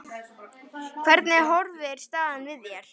Hvernig horfir staðan við þér?